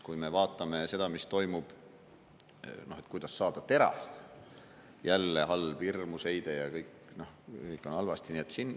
Kui me vaatame seda, mis toimub, kuidas saadakse terast: jälle halb, hirmus heide ja kõik on halvasti.